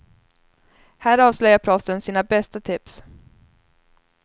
Här avslöjar proffsen sina bästa tips.